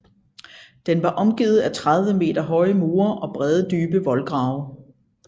Den var omgivet af 30 meter høje mure og brede dybe voldgrave